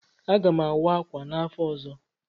Aga m awa ákwà n'afọ ọzọ.